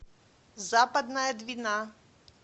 западная двина